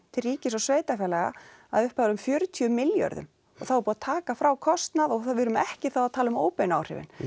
til ríkis og sveitarfélaga að upphæð um fjörutíu milljörðum og þá var búið að taka frá kostnað og við erum ekki þá að tala um óbeinu áhrifin